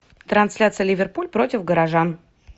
трансляция ливерпуль против горожан